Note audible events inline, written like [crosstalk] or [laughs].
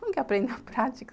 Como que [laughs] aprende na prática?